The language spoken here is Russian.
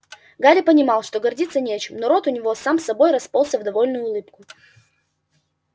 гарри понимал что гордиться нечем но рот у него сам собой расползся в довольную улыбку